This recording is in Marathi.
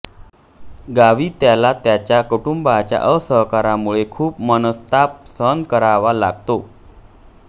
गावी त्याला त्याच्या कुटुंबाच्या असहकारामुळे खूप मनस्ताप सहन करावा लागतो